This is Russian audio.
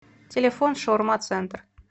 телефон шаурма центр